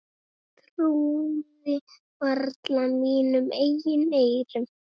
Trúði varla mínum eigin eyrum.